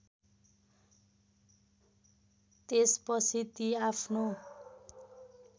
त्यसपछि ती आफ्नो